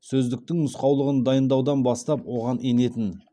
сөздіктің нұсқаулығын дайындаудан бастап оған енетін